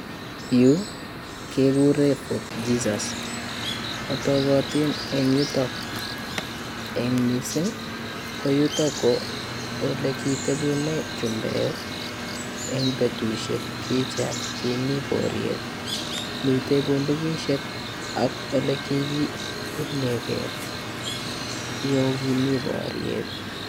Yu kekure Fort Jesus. Otogotin eng yutok eng mising ko yutok ko ole kiteputen chumbek eng betusiek kiche kimi boriet. Mite bundukisiek ak olekiunye gee yugimi boriet.